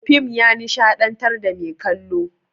Fim ya nishaɗantar da mai kallo.